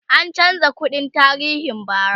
an chanza kundin tarihin bara